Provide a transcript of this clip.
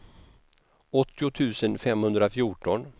åttio tusen femhundrafjorton